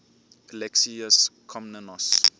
alexius komnenos